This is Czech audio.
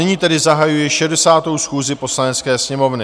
Nyní tedy zahajuji 60. schůzi Poslanecké sněmovny.